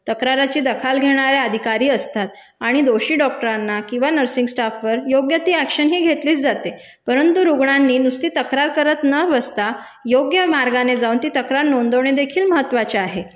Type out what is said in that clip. तक्राराची दखाल घेणाऱ्या अधिकारी असतात आणि दोषी डॉक्टरांना किंवा नर्सिंग स्टाफवर योग्य ती अॅक्शन ही घेतलीच जाते. परंतु रुग्णांनी नुसती तक्रार करत न बसता योग्य मार्गाने जाऊन ती तक्रार नोंदवणेदेखील महत्वाचे आहे,